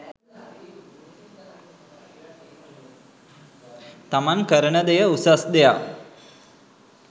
තමන් කරන දෙය උසස් දෙයක්